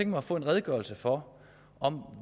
mig at få en redegørelse for